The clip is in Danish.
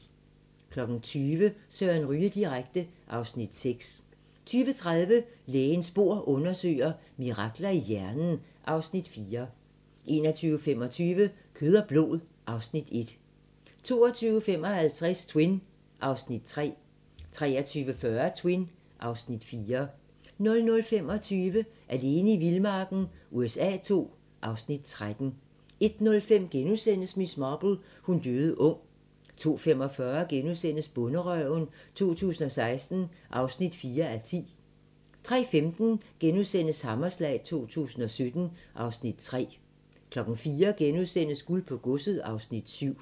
20:00: Søren Ryge direkte (Afs. 6) 20:30: Lægens bord undersøger: Mirakler i hjernen (Afs. 4) 21:25: Kød og blod (Afs. 1) 22:55: Twin (Afs. 3) 23:40: Twin (Afs. 4) 00:25: Alene i vildmarken USA II (Afs. 13) 01:05: Miss Marple: Hun døde ung * 02:45: Bonderøven 2016 (4:10)* 03:15: Hammerslag 2017 (Afs. 3)* 04:00: Guld på godset (Afs. 7)*